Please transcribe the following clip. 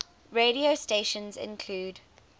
radio stations include